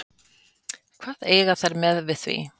Hvað eiga þær við með því?